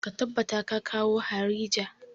Ka tabbata ka kawo harija!